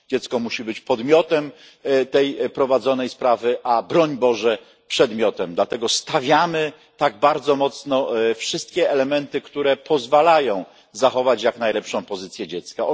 Dziecko musi być podmiotem tej prowadzonej sprawy, a broń Boże nie przedmiotem, dlatego stawiamy tak bardzo mocno wszystkie elementy, które pozwalają zachować jak najlepszą pozycję dziecka.